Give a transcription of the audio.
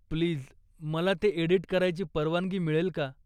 Please, मला ते edit करायची परवानगी मिळेल का?